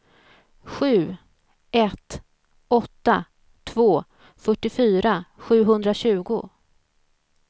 sju ett åtta två fyrtiofyra sjuhundratjugo